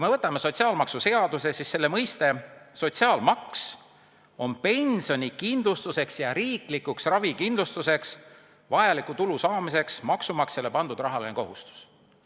Võtame sotsiaalmaksuseaduses mõiste "sotsiaalmaks": see on pensionikindlustuseks ja riiklikuks ravikindlustuseks vajaliku tulu saamiseks maksumaksjale pandud rahaline kohustus.